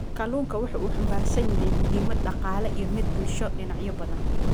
Kalluunku waxa uu xambaarsan yahay muhiimad dhaqaale iyo mid bulsho dhinacyo badan.